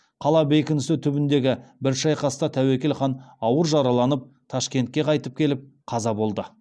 қала бекінісі түбіндегі бір шайқаста тәуекел хан ауыр жараланып ташкентке қайтып келіп қаза болды